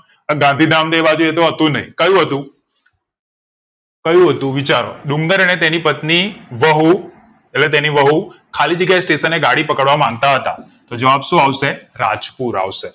આ ગાંધીધામ દેવાજયે હતું નય તો કયું હતું કયું હતું વિચારો ડુંગર અને તેની પત્ની બહુ એટલે તેની વહુ ખાલી જગ્યા station ગાડી પકડવા માંગતા હતા તો જવાબ શું આવશે રાજપુર આવશે